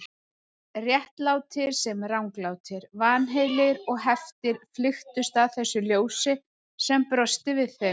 Réttlátir sem ranglátir, vanheilir og heftir flykktust að þessu ljósi sem brosti við þeim.